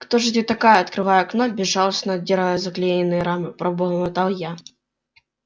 кто же ты такая открывая окно безжалостно отдирая заклеенные рамы пробормотал я